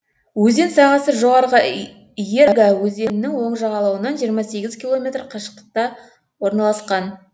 өзен сағасы жоғарғы ерга өзенінің оң жағалауынан жиырма сегіз километр қашықтықта орналасқан